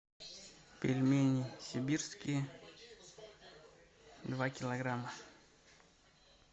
пельмени сибирские два килограмма